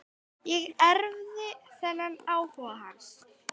Ég erfði þennan áhuga hans.